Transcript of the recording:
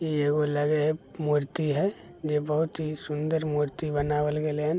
ई एगो लगय हेय मूर्ति हेय जे बहुत ही सूंदर मूर्ति बनवाल गेले हैन --